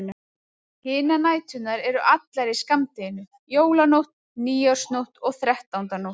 Hinar næturnar eru allar í skammdeginu: Jólanótt, nýársnótt og þrettándanótt.